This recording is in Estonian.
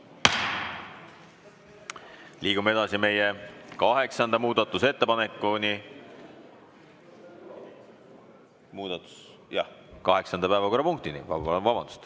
Liigume edasi meie kaheksanda päevakorrapunktini.